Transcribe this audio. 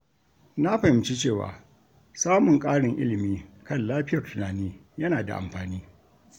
Na fahimci cewa samun ƙarin ilimi kan lafiyar tunani yana da amfani.